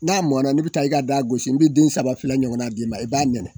N'a mɔnna ni bɛ taa i ka da gosi n b'i den saba ɲɔgɔn d'i ma i b'a nɛnɛ.